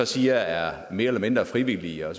siger er mere eller mindre frivillige og